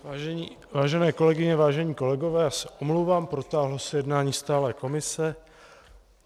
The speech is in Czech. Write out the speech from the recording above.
Vážené kolegyně, vážení kolegové, já se omlouvám, protáhlo se jednání stálé komise.